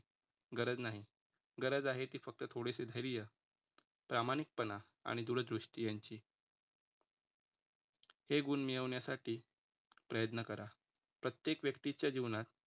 गरज नाही, गरज आहे ती फक्त थोडीशी धैर्य, प्रामाणिकपणा आणि दूरदृष्टी यांची. हे गुण मिळवण्यासाठी प्रयत्न करा प्रत्येक व्यक्तीच्या जीवनात